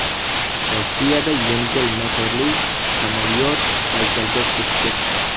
Rossiyada yengil motorli samolyot Baykalga cho‘kib ketdi .